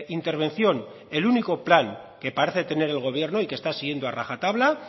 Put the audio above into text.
intervención el único plan que parece tener el gobierno y que está siguiendo a rajatabla